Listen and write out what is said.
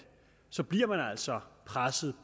så bliver man altså presset